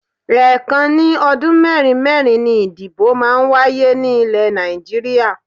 Ẹ́ẹ̀kan ní ọdún mẹ́rin mẹ́rin ni ìdìbò máa ń wáyé ní ilẹ̀ Nàìjíríà